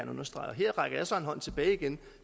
understrege og her rækker jeg så en hånd tilbage igen